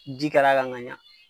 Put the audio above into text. Ji kɛr'a kan ka ɲa